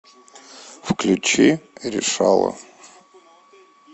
включи решала